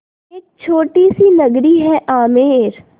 एक छोटी सी नगरी है आमेर